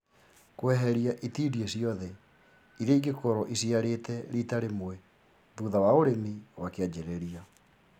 Kweheria itindiĩ ciothe iria ingĩkorwo iciarĩte rita rĩmwe thutha wa ũrĩmi wa kĩanjĩrĩria